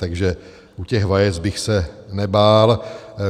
Takže u těch vajec bych se nebál.